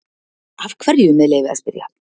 Af hverju, með leyfi að spyrja?